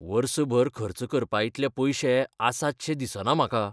वर्सभर खर्च करपाइतलेय पयशे आसातशे दिसना म्हाका.